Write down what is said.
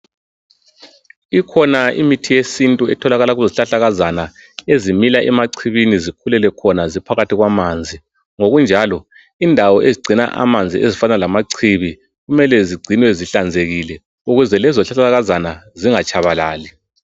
Ikhona imithi yesintu etholakala kuzihlahlakazana ezimila emacibini sikhulele khona ziphakathi kwamanzi, ngokunjalo indawo ezigcina amanzi ezifana lama cibi kumele zigcinwe zihlanzekile ukuze lezo zihlahlakazana zingatshabalali.